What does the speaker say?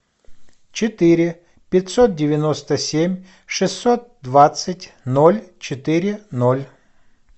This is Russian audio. четыре пятьсот девяносто семь шестьсот двадцать ноль четыре ноль